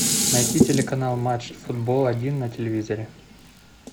найти телеканал матч футбол один на телевизоре